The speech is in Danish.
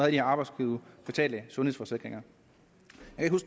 her arbejdsgiverbetalte sundhedsforsikringer